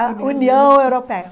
A União Europeia.